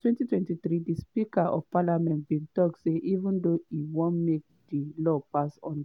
for 2023 di speaker of parliament bin tok say even though im wan make di law pass under